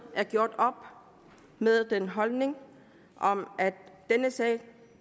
er gjort op med den holdning at denne sag